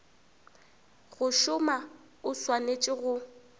go šoma o swanetše go